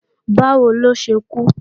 Báwo ló ṣe kú?